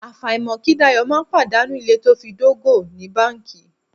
Àfàìmọ̀ kí Dayọ̀ má pàdánù ilé to fi dógò ní báńkì.